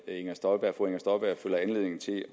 inger støjberg føler anledning til